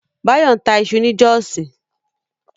Báyọ̀ ń ta iṣu ni Jọ́ọ̀sí